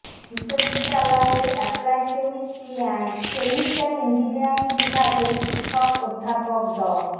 বিশ্ববিদ্যালয়ের applied chemistry and chemical engineering বিভাগের শিক্ষক অধ্যাপক ড